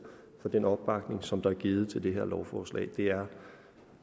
for den opbakning som der er givet til det her lovforslag det er